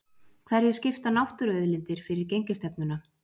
Hverju skipta náttúruauðlindir fyrir gengisstefnuna?